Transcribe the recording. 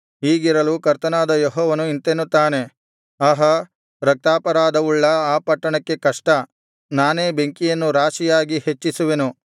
ಹೀಗಿರಲು ಕರ್ತನಾದ ಯೆಹೋವನು ಇಂತೆನ್ನುತ್ತಾನೆ ಆಹಾ ರಕ್ತಾಪರಾಧವುಳ್ಳ ಆ ಪಟ್ಟಣಕ್ಕೆ ಕಷ್ಟ ನಾನೇ ಬೆಂಕಿಯನ್ನು ರಾಶಿಯಾಗಿ ಹೆಚ್ಚಿಸುವೆನು